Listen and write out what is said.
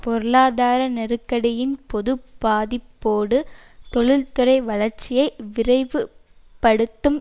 பொருளாதார நெருக்கடியின் பொது பாதிப்போடு தொழில்துறை வளர்ச்சியை விரைவு படுத்தும்